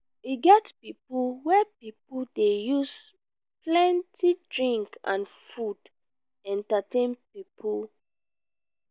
e get pipo wey pipo wey dey use plenty drink and food entertain pipo.